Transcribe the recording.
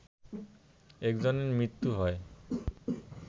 একজনের মৃত্যু হয়